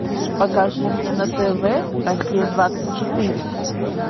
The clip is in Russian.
покажи мне на тв россия двадцать четыре